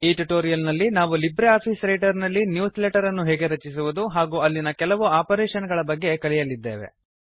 ಈ ಟ್ಯುಟೋರಿಯಲ್ ನಲ್ಲಿ ನಾವು ಲಿಬ್ರೆ ಆಫೀಸ್ ರೈಟರ್ ನಲ್ಲಿ ನ್ಯೂಸ್ ಲೆಟರ್ ಅನ್ನು ಹೇಗೆ ರಚಿಸುವುದು ಹಾಗೂ ಅಲ್ಲಿನ ಕೆಲವು ಆಪರೇಶನ್ ಗಳ ಬಗ್ಗೆ ಕಲಿಯಲಿದ್ದೇವೆ